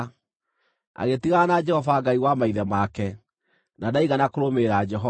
Agĩtigana na Jehova, Ngai wa maithe make, na ndaigana kũrũmĩrĩra Jehova.